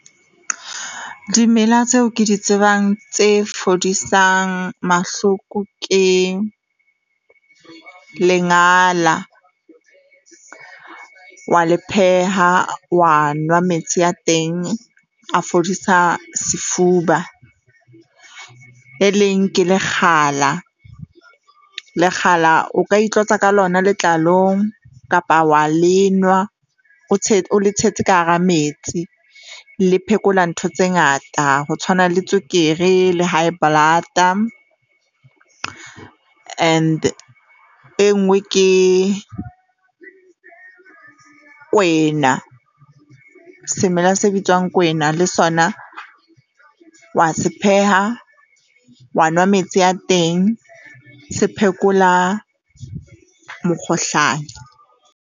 Dimela tseo ke di tsebang tse fodisang mahloko ke lengala, wa le pheha, wa nwa metsi a teng a fodisa sefuba. Le leng ke lekgala, lekgala o ka itlotsa ka lona letlalong kapa wa lenwa o tshetse o le tshetse ka hara metsi. Le phekola ntho tse ngata ho tshwana le tswekere le high blood-a and e nngwe ke kwena. Semela se bitswang kwena le sona wa se pheha wa nwa metsi a teng se phekola mokgohlane.